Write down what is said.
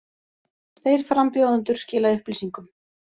Tveir frambjóðendur skila upplýsingum